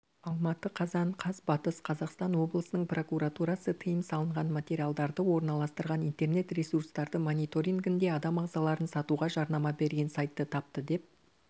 алматы қазан қаз батыс қазақстан облысының прокуратурасы тыйым салынған материалдарды орналастырған интернет-ресурстарды мониторингінде адам ағзаларын сатуға жарнама берген сайтты тапты деп